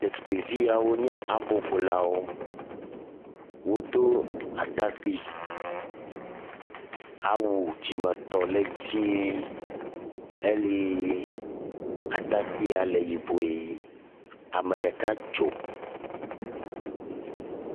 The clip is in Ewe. Ɖetugbviawo nye aboƒolawo. Wodo atakpi, awu dzimetɔ le dzie eye atrakpia le yibɔe. Ame ɖeka dzo.